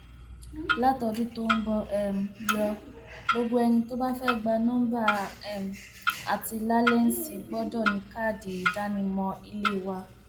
látọdún tó ń bọ um lọ gbogbo ẹni tó bá fẹẹ gba nọmba um àti làlẹǹsì gbọdọ ní káàdì ìdánimọ ilé wa